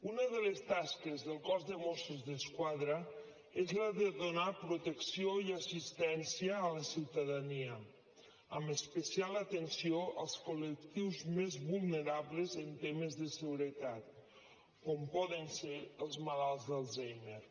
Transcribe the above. una de les tasques del cos de mossos d’esquadra és la de donar protecció i assistència a la ciutadania amb especial atenció als col·lectius més vulnerables en temes de seguretat com poden ser els malalts d’alzheimer